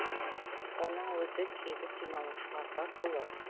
оның өзі тегін демалушыларға толы